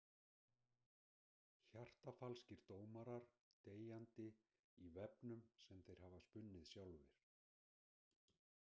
Hjartafalskir dómarar deyjandi í vefnum sem þeir hafa spunnið sjálfir.